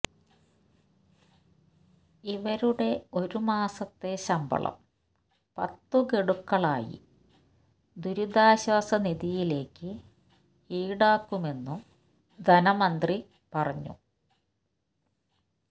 ഇവരുടെ ഒരുമാസത്തെ ശമ്പളം പത്ത് ഗഡുക്കളായി ദുരിതാശ്വാസ നിധിയിലേക്ക് ഈടാക്കുമെന്നും ധനമന്ത്രി പറഞ്ഞു